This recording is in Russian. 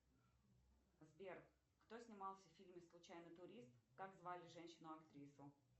сбер кто снимался в фильме случайный турист как звали женщину актрису